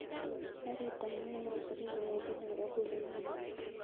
Karit ab maat neisubi kowendi nairobi konyone au